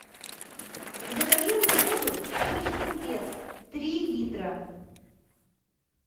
закажи мне воду шишкин лес три литра